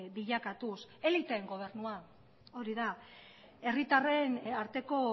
bilakatuz eliteen gobernua hori da herritarren arteko